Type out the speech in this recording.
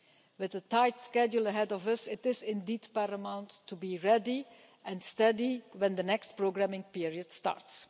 With the tight schedule ahead of us, it is indeed paramount to be ready and steady when the next programming period starts.